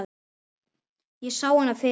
Ég sá hana fyrir mér.